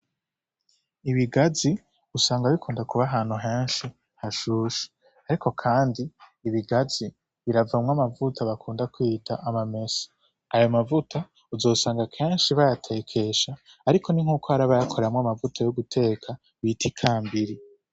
Ibigazi usanga bikunda kuba ahantu henshi hashushe, ariko kandi ibigazi biravamwo amavuta bakunda kwita amamesa, ayo mavuta uzosanga kenshi bayatekesha ariko ni nkuko hari abayakuramwo amavuta yo guteka bita ikambiri.